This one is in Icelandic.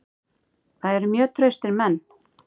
Það eru mjög traustir menn.